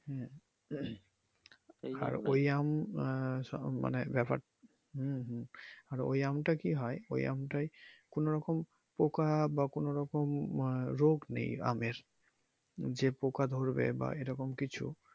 আর ওই আম আহ মানে ব্যাপার টা হু হু আর আমটা কি হয় ওই আমটাই কোন রকম পোকা বা কোন রকম আহ রোগ নেই আমের যে পোকা ধরবে বা এরকম কিছু